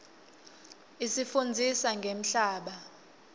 isifundzisa ngemhlaba